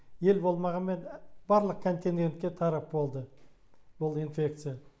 ел болмағанмен барлық континенгентке тарап болды бұл инфекция